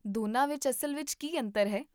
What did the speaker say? ਦੋਨਾਂ ਵਿੱਚ ਅਸਲ ਵਿੱਚ ਕੀ ਅੰਤਰ ਹੈ?